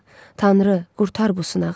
Tanrı, qurtar bu sınağı.